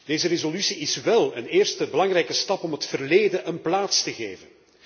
Deze resolutie is wel een eerste belangrijke stap om het verleden een plaats te geven.